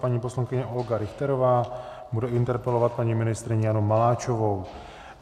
Paní poslankyně Olga Richterová bude interpelovat paní ministryni Janu Maláčovou.